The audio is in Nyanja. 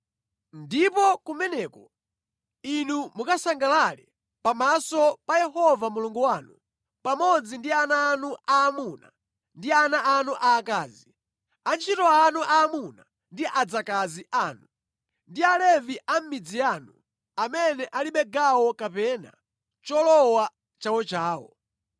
Ndipo kumeneko inu mukasangalale pamaso pa Yehova Mulungu wanu pamodzi ndi ana anu aamuna ndi ana anu aakazi, antchito anu aamuna ndi adzakazi anu, ndi Alevi a mʼmidzi yanu, amene alibe gawo kapena cholowa chawochawo.